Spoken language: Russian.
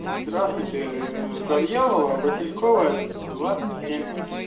здравствуйте завьялова васильковая двадцать семь